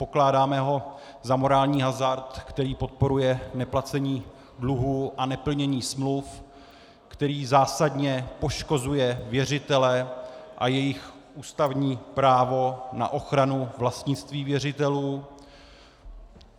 Pokládáme ho za morální hazard, který podporuje neplacení dluhů a neplnění smluv, který zásadně poškozuje věřitele a jejich ústavní právo na ochranu vlastnictví věřitelů.